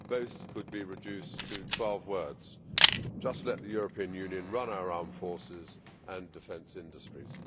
Both could be reduced to 12 words just let the European Union run our armed forces and defence industries.